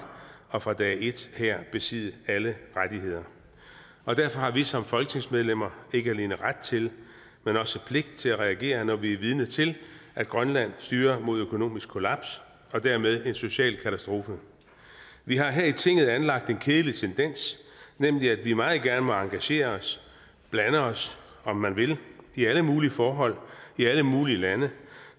og fra dag et her besidde alle rettigheder derfor har vi som folketingsmedlemmer ikke alene ret til men også pligt til at reagere når vi er vidne til at grønland styrer mod økonomisk kollaps og dermed en social katastrofe vi har her i tinget anlagt en kedelig tendens nemlig at vi meget gerne må engagere os blande os om man vil i alle mulige forhold i alle mulige lande